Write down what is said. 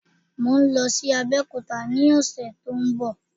Mò ń lọ sí Abẹ́òkúta ni ọ̀sẹ̀ tó ń bọ̀